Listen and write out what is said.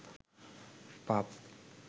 পাপ